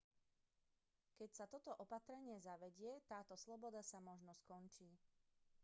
keď sa toto opatrenie zavedie táto sloboda sa možno skončí